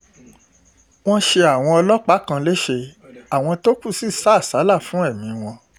wọ́n ṣe àwọn ọlọ́pàá kan lẹ́sẹ̀ àwọn tó kù sì sá àsálà fún ẹ̀mí wọn